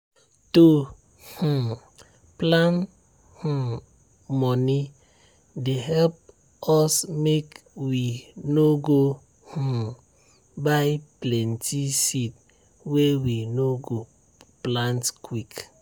to um plan um money dey help us make we no go um buy plenty seed wey we no go plant quick.